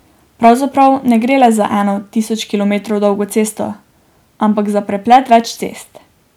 Pravzaprav ne gre le za eno, tisoč kilometrov dolgo cesto, ampak za preplet več cest.